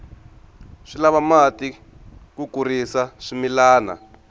swi lava mati ku kurisa swimilana